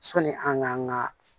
Sɔni an k'an ka